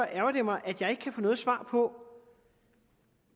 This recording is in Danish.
ærgrer det mig at jeg ikke kan få noget svar på